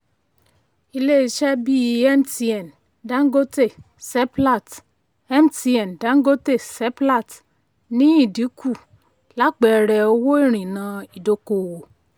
ilé iṣé bí mtn dangote seplat mtn dangote seplat ní ìdìnkú lápẹẹrẹ owó ìrìnà ìdọ́kowọ̀.